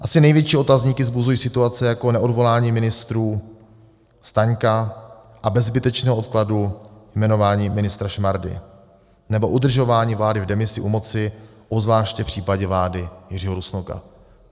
Asi největší otazníky vzbuzují situace jako neodvolání ministrů Staňka a bez zbytečného odkladu jmenování ministra Šmardy nebo udržování vlády v demisi u moci, obzvláště v případě vlády Jiřího Rusnoka.